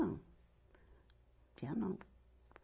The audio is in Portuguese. Não tinha, não.